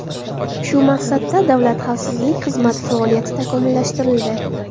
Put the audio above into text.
Shu maqsadda Davlat xavfsizlik xizmati faoliyati takomillashtirildi.